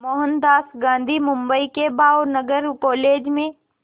मोहनदास गांधी बम्बई के भावनगर कॉलेज में